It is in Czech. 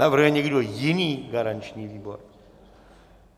Navrhuje někdo jiný garanční výbor?